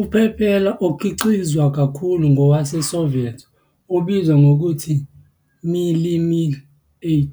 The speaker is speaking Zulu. Uphephela okhiqizwa kakhulu ngowase-Soviet obizwa ngokuthi "Mil Mi-8",